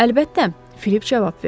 Əlbəttə, Filip cavab verdi.